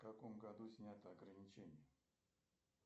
в каком году снято ограничение